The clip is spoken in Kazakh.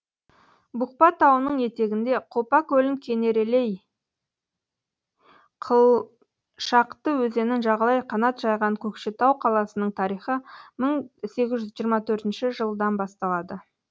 бұқпа тауының етегінде қопа көлін кенерелей қылшақты өзенін жағалай қанат жайған көкшетау қаласының тарихы мың сегіз жүз жиырма төртінші жылдан басталады